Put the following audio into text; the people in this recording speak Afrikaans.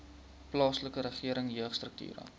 plaaslike regering jeugstrukture